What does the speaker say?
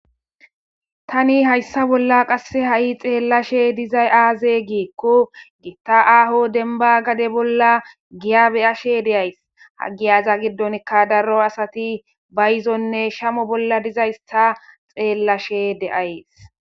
Tani hayssa bolla qasse ha7i xeellashe dizay aaze giikku giitta aaho denba gade bolla giya beyashe deays ha giyaza giddonka daro asati bayizonne shamo bolla dizaysta xeellashe deays.